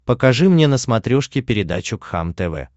покажи мне на смотрешке передачу кхлм тв